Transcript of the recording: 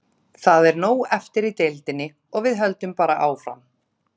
Það er nóg eftir í deildinni og við höldum bara áfram.